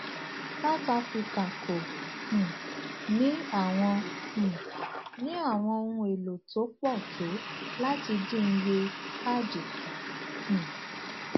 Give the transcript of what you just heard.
south africa kò um ní àwọn um ní àwọn ohun èlò tó pò tó láti dín iye cad kù um